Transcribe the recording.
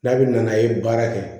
N'a bɛ na n'a ye baara kɛ